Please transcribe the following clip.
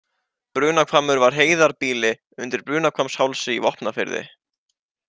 Brunahvammur var heiðarbýli undir Brunahvammshálsi í Vopnafirði.